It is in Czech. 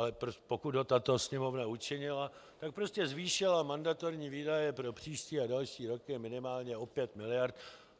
Ale pokud ho tato Sněmovna učinila, tak prostě zvýšila mandatorní výdaje pro příští a další roky minimálně o 5 mld.